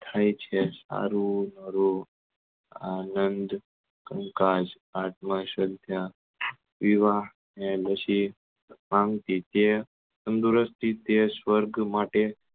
થાય છે તારું મારું આનંદ કંકાસ આત્મા સંતા વિવાહ ને નસીબ તંદુરુસ્તી તે સ્વર્ગ માટે